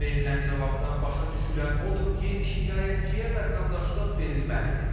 Bizə verilən cavabdan başa düşülən odur ki, şikayətçiyə vətəndaşlıq verilməlidir.